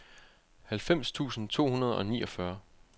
halvfems tusind to hundrede og niogfyrre